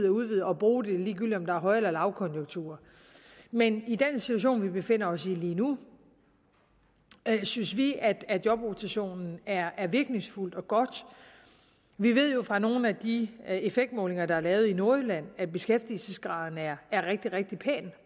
udvide og bruge det ligegyldigt om der er høj eller lavkonjunktur men i den situation vi befinder os i lige nu synes vi at at jobrotation er er virkningsfuldt og godt vi ved jo fra nogle af de effektmålinger der er lavet i nordjylland at beskæftigelsesgraden er rigtig rigtig pæn